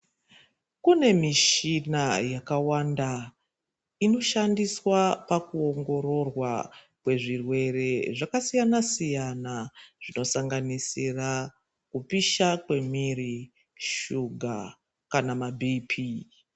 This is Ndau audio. Kunemishina yakawanda , inoshandiswa pakuwongororwa kwezvirwere zvakasiyana siyana. Zvinosanganisira kupisha kwemwiri, shuga kana mabhiphi.